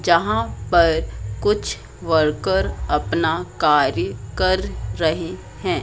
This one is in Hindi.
जहां पर कुछ वर्कर अपना कार्य कर रहे हैं।